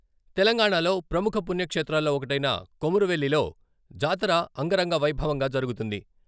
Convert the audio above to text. తెలంగాణలో ప్రముఖ పుణ్యక్షేత్రాల్లో ఒకటైన కొమురువెల్లిలో జాతర అంగరంగవైభవంగా జరుగుతుంది.